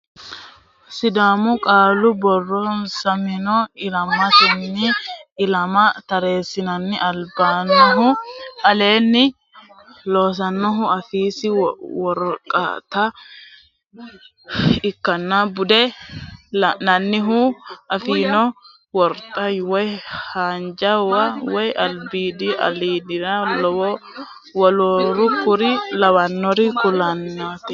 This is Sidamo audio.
Sidaamu qaalu borreessammenni ilamatenni ilama tareessanni abbinohu aleenni xawinsirenna wolootano ikkanna bude lainohunni affino warxa woy haa jawa woy albiidiha ayirrisanna woluno kuri lawannori kullannireeti.